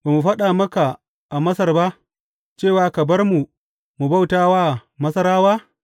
Ba mu faɗa maka a Masar ba, cewa Ka bar mu mu bauta wa Masarawa’?